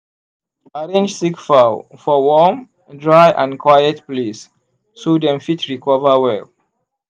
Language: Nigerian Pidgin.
arrange sick fowl for warm dry and quiet place so dem fit recover well.